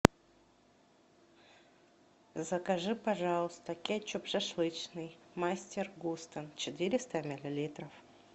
закажи пожалуйста кетчуп шашлычный мастер густо четыреста миллилитров